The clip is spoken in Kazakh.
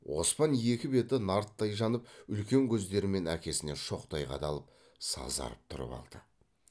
оспан екі беті нарттай жанып үлкен көздерімен әкесіне шоктай қадалып сазарып тұрып алды